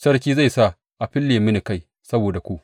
Sarki zai sa a fille mini kai saboda ku.